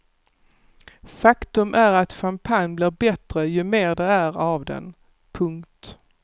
Faktum är att champagne blir bättre ju mer det är av den. punkt